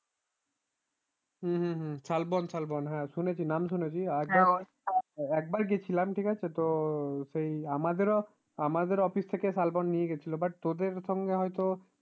হম হম হম শালবন শালবন শুনেছি নাম শুনেছি একবার গিয়েছিলাম ঠিক আছে তো সেই আমাদেরও আমাদেরও office থেকে শালবন নিয়ে গিয়েছিল but তোদের সঙ্গে হয় তো